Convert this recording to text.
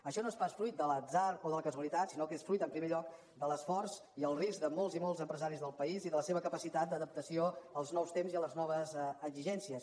això no és pas fruit de l’atzar o de la casualitat sinó que és fruit en primer lloc de l’esforç i el risc de molts i molts empresaris del país i de la seva capacitat d’adaptació als nous temps i les noves exigències